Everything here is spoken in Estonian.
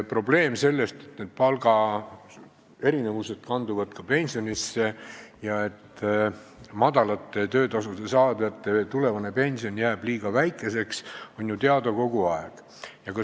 Probleem, et palgaerinevused kanduvad ka pensionisse ja et väikeste töötasude saajate tulevane pension jääb liiga väikeseks, on ju teada olnud kogu aeg.